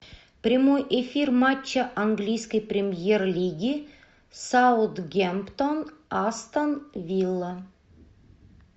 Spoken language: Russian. прямой эфир матча английской премьер лиги саутгемптон астон вилла